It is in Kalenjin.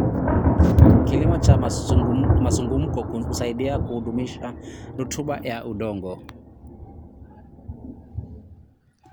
Kilimo cha mzunguko husaidia kudumisha rutuba ya udongo.